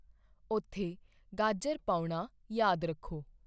ਉੱਥੇ ਗਾਜਰ ਪਾਉਣਾ ਯਾਦ ਰੱਖੋ